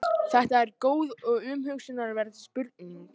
Þetta er góð og umhugsunarverð spurning.